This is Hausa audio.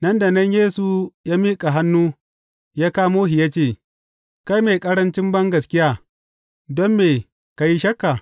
Nan da nan Yesu ya miƙa hannu ya kamo shi ya ce, Kai mai ƙarancin bangaskiya, don me ka yi shakka?